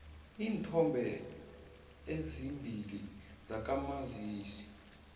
neenthombe ezimbili zakamazisi